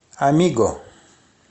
а м и г о